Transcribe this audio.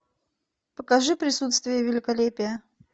покажи присутствие великолепия